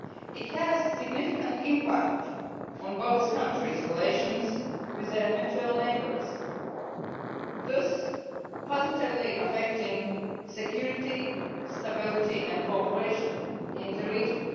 It has significant impact on both countries' relations with their mutual neighbours, thus positively affecting security, stability and cooperation in the region.